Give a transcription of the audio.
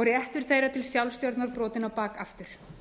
og réttur þeirra til sjálfsstjórnar brotinn á bak aftur